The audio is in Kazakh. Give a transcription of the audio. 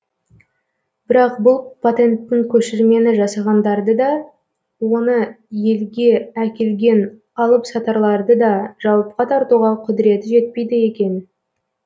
бірақ бұл патенттің көшірмені жасағандарды да оны елге әкелген алыпсатарларды да жауапқа тартуға құдіреті жетпейді екен